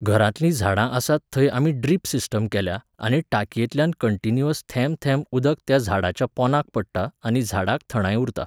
घरांतलीं झाडां आसात थंय आमी ड्रीप सिस्टम केल्या आनी टाकयेंतल्यान कंटिन्युयस थेंब थेंब उदक त्या झाडाच्या पोंदांक पडटा आनी झाडांक थंडाय उरता